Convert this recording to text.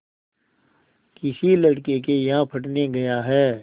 किसी लड़के के यहाँ पढ़ने गया है